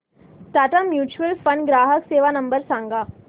Tata mutual fund ग्राहक सेवा number सांगा